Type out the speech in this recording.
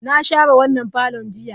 Na share wannan parlourn jiya.